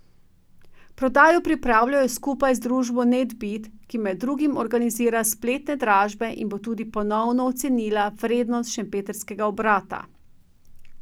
Prodajo pripravljajo skupaj z družbo Netbid, ki med drugim organizira spletne dražbe in bo tudi ponovno ocenila vrednost šempetrskega obrata.